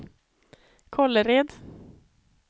Kållered